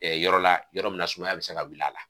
yɔrɔ la yɔrɔ min na sumaya bi se ka wulila a la